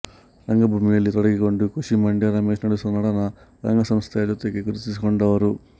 ರಂಗಭೂಮಿಯಲ್ಲಿ ತೊಡಗಿಕೊಂಡ ಖುಷಿ ಮಂಡ್ಯ ರಮೇಶ್ ನಡೆಸುವ ನಟನ ರಂಗಸಂಸ್ಥೆಯ ಜೊತೆಗೆ ಗುರುತಿಸಿಕೊಂಡವರು